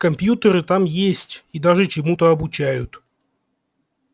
компьютеры там есть и даже чему-то обучают